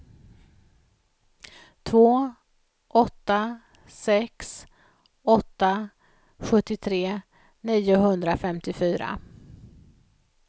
två åtta sex åtta sjuttiotre niohundrafemtiofyra